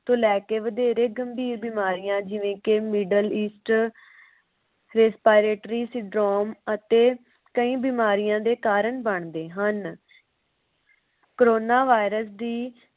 ਤੋਂ ਲੈ ਕੇ ਵਧੇਰੇ ਗੰਭੀਰ ਬਿਮਾਰੀਆਂ ਜਿਵੇ ਕਿ middle east sir peter syndrome ਅਤੇ ਕਈ ਬਿਮਾਰੀਆਂ ਦੇ ਕਾਰਨ ਬਣਦੇ ਹਨ corona virus ਦੀ